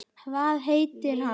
Hvað heitir hann?